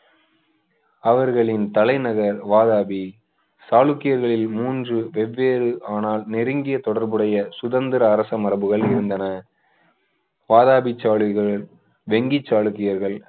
அவர்களின் தலைநகர் வாதாபி சாளுக்கியர்களில் மூன்று வெவ்வேறு ஆனால் நெருங்கிய தொடர்புடைய சுதந்திர அரச மரபுகள் இருந்தன வாதாபி சாளுக்கியர்கள் வெங்கி சாளுக்கியர்கள்